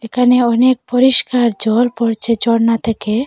এখানে অনেক পরিষ্কার জল পড়ছে ঝর্ণা থেকে।